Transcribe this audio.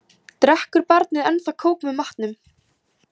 Drekkur barnið ennþá kók með matnum?